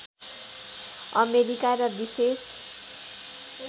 America र विशेष